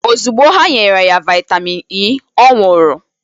Ozugbo ha nyere ya vitamin E ọ nwụrụ